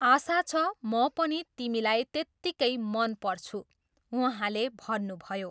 आशा छ, म पनि तिमीलाई त्यतिकै मन पर्छु, उहाँले भन्नुभयो।